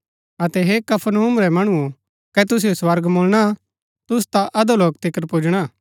अतै हे कफरनहूम रै मणुओ कै तुसिओ स्वर्ग मुळणा तुसु ता अधोलोक तिकर पुजणा